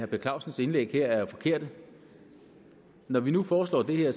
per clausens indlæg er jo forkerte når vi nu foreslår det er